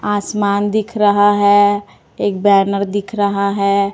आसमान दिख रहा है एक बैनर दिख रहा है।